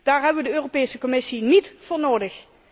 Daar hebben wij de Europese Commissie niet voor nodig.